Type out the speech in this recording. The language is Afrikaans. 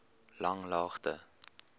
langlaagte